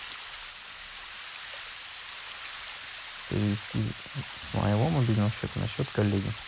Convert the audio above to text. перевести с моего мобильного счета на счет коллеги